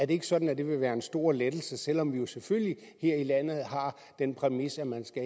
ikke sådan at det vil være en stor lettelse selv om vi jo selvfølgelig her i landet har den præmis at man